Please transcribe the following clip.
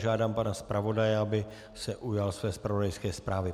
Žádám pana zpravodaje, aby se ujal své zpravodajské zprávy.